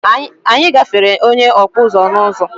Anyị gáfèrè onye Okpuzu n'uzo